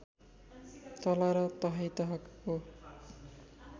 तला र तहै तहको